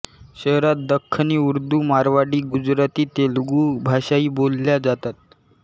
शहरात दख्खनी उर्दू मारवाडी गुजराती तेलुगू भाषाही बोलल्या जातात